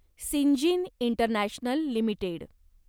Syngene International limited